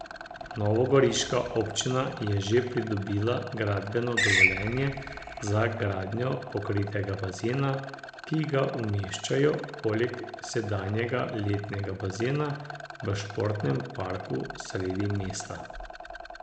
Novogoriška občina je že pridobila gradbeno dovoljenje za gradnjo pokritega bazena, ki ga umeščajo poleg sedanjega letnega bazena v Športnem parku sredi mesta.